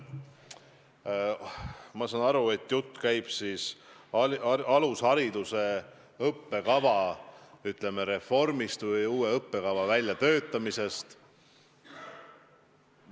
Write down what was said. Ma saan aru, et jutt käib alushariduse õppekava, ütleme, reformist või uue õppekava väljatöötamisest.